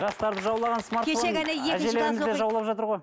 жастарды жаулаған смартфон жаулап жатыр ғой